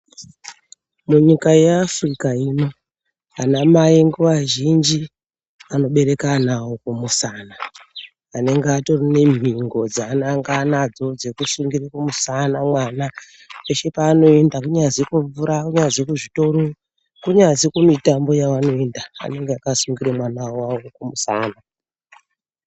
Munyika yeAfrica ino, anamai nguva zhinji vanobereka ana vavo kumusana vanenge vatori nemhingo dzaananganadzo dzekusungirira kumusana mwana. Peshe paanoenda kunyazi kumvura, kunyazi kuzvitoro, kunyazi kumitambo yavanoinda vanenge vakasungirira mwana wavo kumusana.